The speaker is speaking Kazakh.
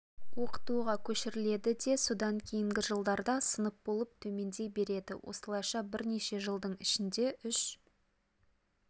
оқытуға көшіріледі де содан кейінгі жылдарда сынып болып төмендей береді осылайша бірнеше жылдың ішінде үш